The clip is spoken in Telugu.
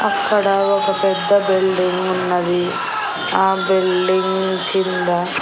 అక్కడ ఒక పెద్ద బిల్డింగ్ ఉన్నది ఆ బిల్డింగ్ కింద--